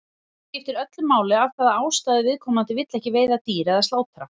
Hér skiptir öllu máli af hvaða ástæðu viðkomandi vill ekki veiða dýr eða slátra.